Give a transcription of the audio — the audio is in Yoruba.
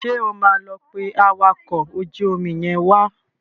Ṣé o máa lọ pé awakọ̀ ojú omi yẹn wá?